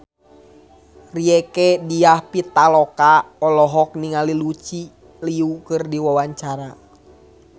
Rieke Diah Pitaloka olohok ningali Lucy Liu keur diwawancara